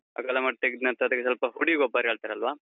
ಅಗಲ ಮಾಡಿ ತೆಗೆದ್ನಂತ್ರ ಅದಕ್ಕೆ ಸ್ವಲ್ಪ ಹುಡಿ ಗೊಬ್ಬರ ಹೇಳ್ತಾರಲ್ವಾ?